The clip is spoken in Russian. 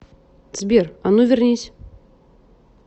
сбер а ну вернись